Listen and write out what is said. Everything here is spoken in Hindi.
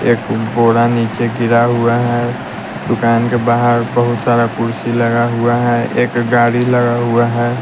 एक बोरा नीचे गिरा हुआ है दुकान के बाहर बहुत सारा कुर्सी लगा हुआ है एक गाड़ी लगा हुआ है।